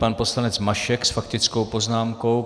Pan poslanec Mašek s faktickou poznámkou.